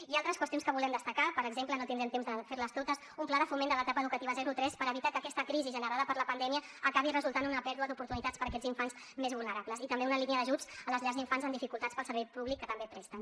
i altres qüestions que volem destacar per exemple no tindrem temps de fer les totes un pla de foment de l’etapa educativa zero tres per evitar que aquesta crisi generada per la pandèmia acabi resultant una pèrdua d’oportunitats per a aquests infants més vulnerables i també una línia d’ajuts a les llars d’infants amb dificultats pel servei públic que també presten